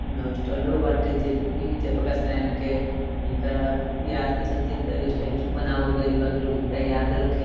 इमे हॉस्टलो बाटे जे की जय प्रकाश नारायण के हिंकरा याद के चलते हिनका के स्टैचू बनावल गइल बा लोग हिनका याद रखी |